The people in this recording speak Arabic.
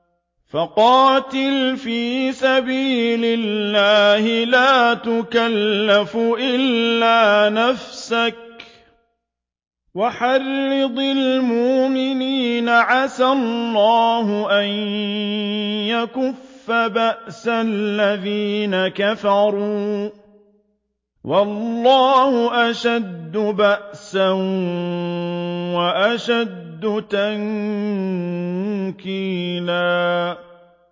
فَقَاتِلْ فِي سَبِيلِ اللَّهِ لَا تُكَلَّفُ إِلَّا نَفْسَكَ ۚ وَحَرِّضِ الْمُؤْمِنِينَ ۖ عَسَى اللَّهُ أَن يَكُفَّ بَأْسَ الَّذِينَ كَفَرُوا ۚ وَاللَّهُ أَشَدُّ بَأْسًا وَأَشَدُّ تَنكِيلًا